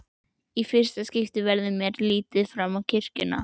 Í fyrsta skipti verður mér litið fram kirkjuna.